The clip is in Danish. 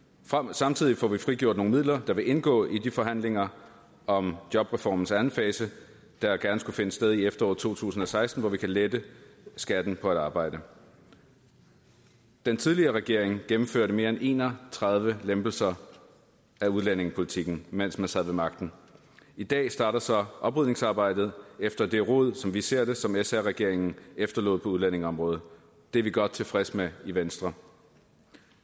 samtidig får vi frigjort nogle midler der vil indgå i de forhandlinger om jobreformens anden fase der gerne skulle finde sted i efteråret to tusind og seksten hvor vi kan lette skatten på arbejde den tidligere regering gennemførte mere end en og tredive lempelser af udlændingepolitikken mens man sad ved magten i dag starter så oprydningsarbejdet efter det rod sådan som vi ser det som sr regeringen efterlod på udlændingeområdet det er vi godt tilfredse med i venstre